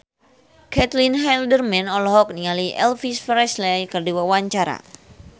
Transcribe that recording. Caitlin Halderman olohok ningali Elvis Presley keur diwawancara